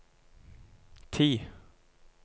ti